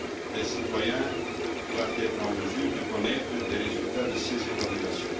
Les citoyens doivent être en mesure de connaître les résultats de ces évaluations.